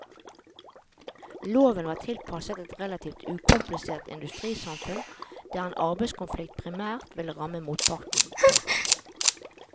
Loven var tilpasset et relativt ukomplisert industrisamfunn der en arbeidskonflikt primært ville ramme motparten. punktum